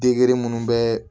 Degere munnu bɛ